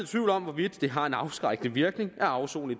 tvivl om hvorvidt det har en afskrækkende virkning at afsone i